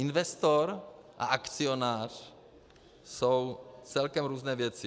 Investor a akcionář jsou celkem různé věci.